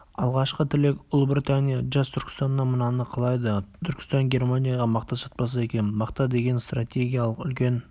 алғашқы тілек ұлыбритания жас түркістаннан мынаны қалайды түркістан германияға мақта сатпаса екен мақта деген стратегиялық үлкен